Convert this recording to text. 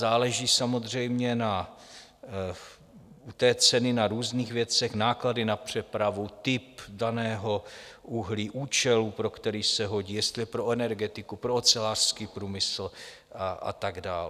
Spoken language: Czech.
Záleží samozřejmě u té ceny na různých věcech - náklady na přepravu, typ daného uhlí, účelu, pro který se hodí, jestli je pro energetiku, pro ocelářský průmysl a tak dál.